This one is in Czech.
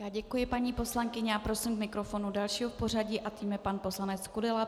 Já děkuji paní poslankyni a prosím k mikrofonu dalšího v pořadí a tím je pan poslanec Kudela.